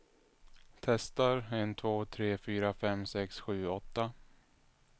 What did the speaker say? Testar en två tre fyra fem sex sju åtta.